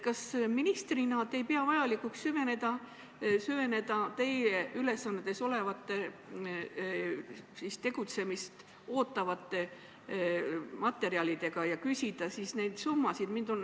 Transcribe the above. Kas te ministrina ei pea vajalikuks süveneda materjalidesse, mida teie ülesanded ette näevad ja mis näevad ette tegutsemist, ja kas te ei pidanud vajalikuks küsida, mis need summad on?